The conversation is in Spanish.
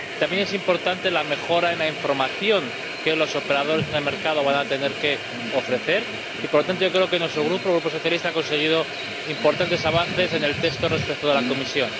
También es importante la mejora en la información que los operadores en el mercado van a tener que ofrecer y, por tanto, yo creo que nuestro grupo, el Grupo socialista, ha conseguido importantes avances en el texto respecto de la Comisión.